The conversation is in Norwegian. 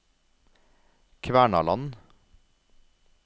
Kvernaland